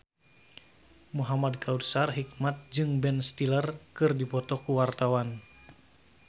Muhamad Kautsar Hikmat jeung Ben Stiller keur dipoto ku wartawan